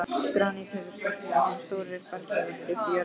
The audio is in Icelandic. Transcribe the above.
Granít hefur storknað sem stórir berghleifar djúpt í jörðu.